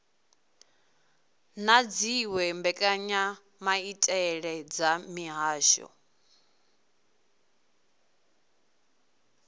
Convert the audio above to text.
na dziwe mbekanyamaitele dza mihasho